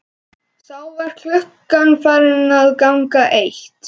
Þá var klukkan farin að ganga eitt.